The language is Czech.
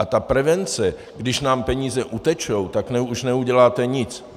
A ta prevence, když nám peníze utečou, tak už neuděláte nic.